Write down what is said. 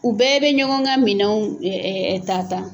U bɛɛ bɛ ɲɔgɔn ka minɛnw ta ta.